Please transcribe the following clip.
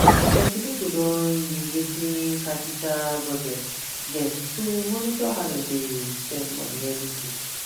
plenty people don use wetin qapital budget get to monitor how dem dey spend money everyday